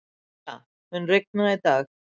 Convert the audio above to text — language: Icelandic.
Bengta, mun rigna í dag?